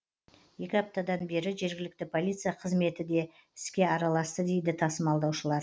екі аптадан бері жергілікті полиция қызметі де іске араласты дейді тасымалдаушылар